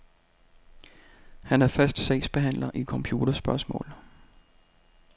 Han er fast sagsbehandler i computerspørgsmål.